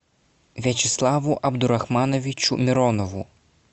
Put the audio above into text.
вячеславу абдурахмановичу миронову